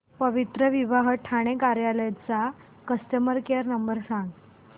पवित्रविवाह ठाणे कार्यालय चा customer care number सांग